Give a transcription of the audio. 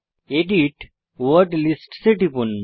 edit word lists এ টিপুন